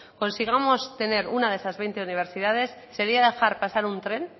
consigamos tener una de esas veinte universidades sería dejar pasar un tren